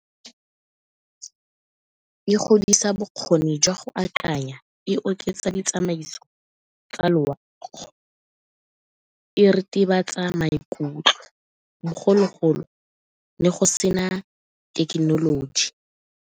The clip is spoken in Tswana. E godisa bokgoni jwa go akanya, e oketsa ditsamaiso tsa loago, e ritibatsa maikutlo bogologolo ne go sena thekenoloji.